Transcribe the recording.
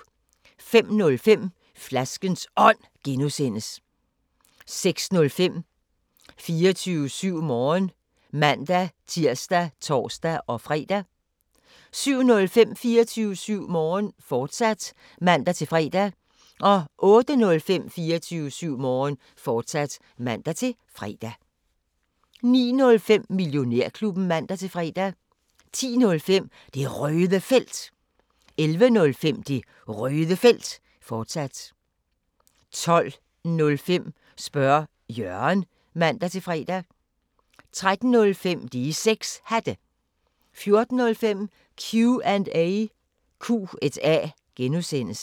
05:05: Flaskens Ånd (G) 06:05: 24syv Morgen (man-tir og tor-fre) 07:05: 24syv Morgen, fortsat (man-fre) 08:05: 24syv Morgen, fortsat (man-fre) 09:05: Millionærklubben (man-fre) 10:05: Det Røde Felt 11:05: Det Røde Felt, fortsat 12:05: Spørge Jørgen (man-fre) 13:05: De 6 Hatte 14:05: Q&A (G)